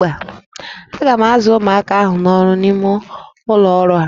A ga-azụ ụmụaka ahụ n'ọrụ n'ime ụlọ ọrụ ahụ